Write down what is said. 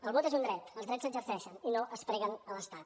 el vot és un dret els drets s’exerceixen i no es preguen a l’estat